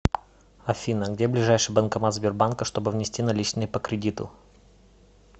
афина где ближайший банкомат сбербанка чтобы внести наличные по кредиту